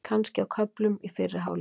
Kannski á köflum í fyrri hálfleik.